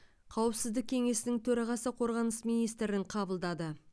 қауіпсіздік кеңесінің төрағасы қорғаныс министрін қабылдады